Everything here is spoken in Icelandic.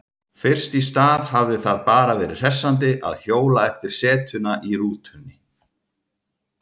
Fyrst í stað hafði það bara verið hressandi að hjóla eftir setuna í rútunni.